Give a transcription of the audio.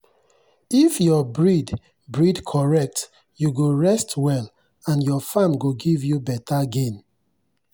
if your breed breed correct you go rest well and your farm go give you better gain.